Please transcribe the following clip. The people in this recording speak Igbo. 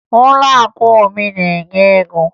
Ụlọakụ Obi na-ebinye ego